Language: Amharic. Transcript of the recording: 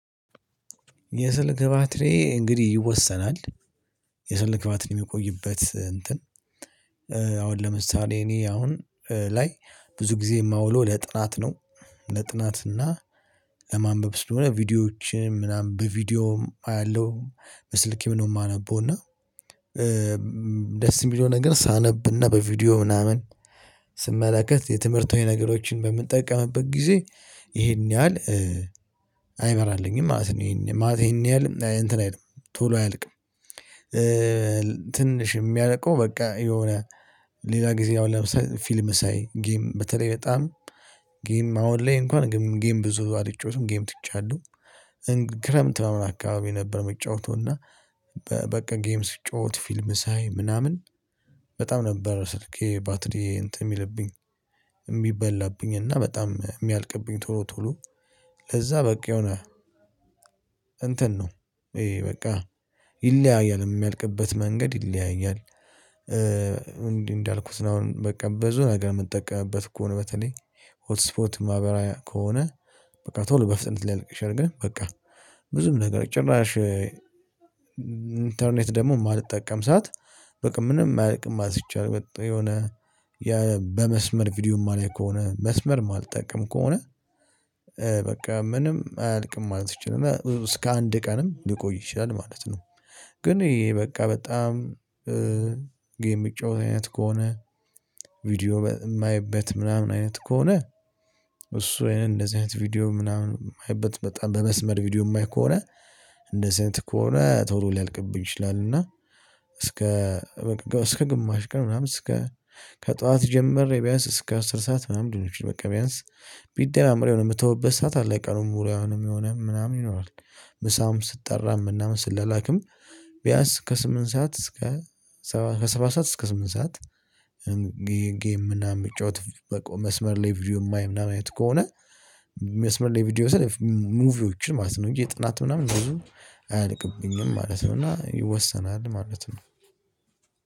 የስልክ ባትሪዬ እንግዲህ ይወሰናል። የስልክ ባትሪዬ የሚቆይበት እንትን። ለምሳሌ እኔ አሁን ላይ ብዙ ጊዜ የማውለው ለጥናት ነው። ለጥናት እና ለማንበብ ስለሆነ ቪዲዮዎችን ምናምን በቪዲዮም አያለሁ በስልኬም ነው የማነበው። እና ደስ የሚለው ነገር ሳነብ እና በቪዲዮ ምናምን ስመለከት የትምህርትዊ ነገሮችን በምጠቀምበት ጊዜ ይሄን ያህል አይመራልኝም ማለት ነው። ይሄን ማለት ይሄን ያህል እንትን አይልም ቶሎ አያልቅም። ትንሽ የሚያልቀው በቃ የሆነ ሌላ ጊዜ ያው ለምሳሌ ፊልም ሳይ ጌም በተለይ በጣም ጌም አሁን ላይ እንኳን ጌም ብዙ አልጫወቱም ጌም ትቻለሁ። ክረምት ምናምን አካባቢ ነበር የምጫወተው። እና በቃ ጌም ስጫወት ፊልም ሳይ ምናምን በጣም ነበር ስልኬ ባትሪ እንትን የሚልብኝ የሚበላብኝ እና በጣም የሚያልቅብኝ ቶሎ ቶሎ። ለዛ በቃ የሆነ እንትን ነው ይሄ በቃ ይለያያል የሚያልቅበት መንገድ ይለያያል። እንዲህ እንዳልኩት ነው። አሁን በቃ በዙ ነገር የምጠቀምበት ከሆነ በተለይ ሆት ስፖት ማበራ ከሆነ በቃ ቶሎ በፍጥነት ላይ አድርገህ በቃ ብዙም ነገር ጭራሽ ኢንተርኔት ደግሞ የማልጠቀም ሰዓት በቃ ምንም አያልቅም ማለት ይቻላል። የሆነ በመስመር ቪዲዮ የማላይ ከሆነ መስመር አልጠቅም ከሆነ በቃ ምንም አያልቅም ማለት ይችላል። እና እስከ አንድ ቀንም ሊቆይ ይችላል ማለት ነው። ግን ይሄ በቃ በጣም ጌም የምጫወት አይነት ከሆነ ቪዲዮ የማየበት ምናምን አይነት ከሆነ እሱ አይነት እንደዚህ አይነት ቪዲዮ ምናምን አይበት በጣም በመስመር ቪዲዮ የማይ ከሆነ እንደዚህ አይነት ከሆነ ቶሎ ሊያልቅብኝ ይችላል። እና እስከ እስከ ግማሽ ቀን ምናምን እስከ ከጠዋት ጀምሬ ቢያንስ እስከ አስር ሰዓት ምናምን ድንች ቢያንስ ቢደማመር የሆነ የምተውበት ሰዓት አለ። ቀኑን ሙሉ አይሆንም የሚሆነው ምናምን ይኖራል። ምሳም ስጠራ ምናምን ስላላክም ቢያንስ ከስምንት ሰዓት እስከ ከሰባት ሰዓት እስከ ስምንት ሰዓት። ጌም ምናምን የሚጫወት በቃ መስመር ላይ ቪዲዮ የማይ ምናምን አይነት ከሆነ መስመር ላይ ቪዲዮ ስለ ሙቪዎችን ማለት ነው እንጂ ጥናት ምናምን አያልቅብኝም ማለት ነው። እና ይወሰናል ማለት ነው።